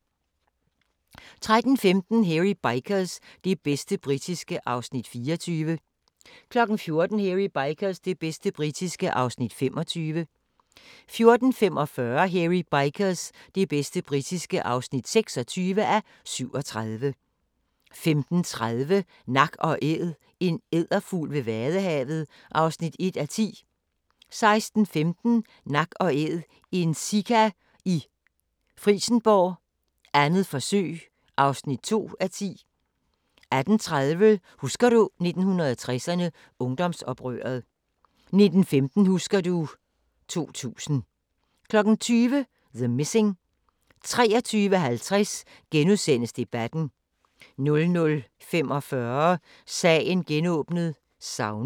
13:15: Hairy Bikers – det bedste britiske (24:37) 14:00: Hairy Bikers – det bedste britiske (25:37) 14:45: Hairy Bikers – det bedste britiske (26:37) 15:30: Nak & Æd – en edderfugl ved vadehavet (1:10) 16:15: Nak & Æd – en sika i Frijsenborg, 2. forsøg (2:10) 18:30: Husker du 1960'erne – Ungdomsoprøret 19:15: Husker du ... 2000 20:00: The Missing 23:50: Debatten * 00:45: Sagen genåbnet: Savnet